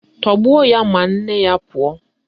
Tọgbuo ya ma nne ya pụọ!